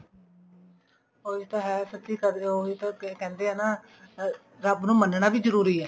ਉਹੀ ਤਾਂ ਹੈ ਸੱਚੀ ਕਦਰ ਉਹੀ ਤਾਂ ਕਹਿੰਦੇ ਹਾਂ ਨਾ ਅਮ ਰੱਬ ਨੂੰ ਮੰਨਣਾ ਵੀ ਜਰੂਰੀ ਹੈ